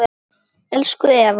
Elsku Eva